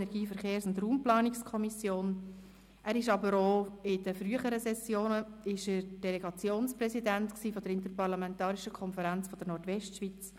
In den früheren Sessionen war er Delegationspräsident der Interparlamentarischen Konferenz der Nordwestschweiz.